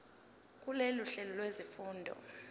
kulolu hlelo lwezifundo